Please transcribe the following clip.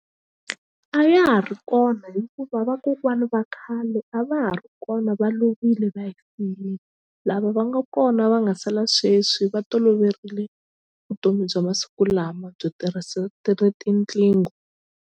A ya ha ri kona hikuva vakokwani va khale a va ha ri kona va lovile va hi lava va nga kona va nga sala sweswi va toloverile vutomi bya masiku lama byo tirhisa ti ri tinqingho.